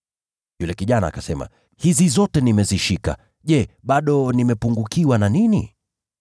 Yule kijana akasema, “Hizi zote nimezishika. Je, bado nimepungukiwa na nini?”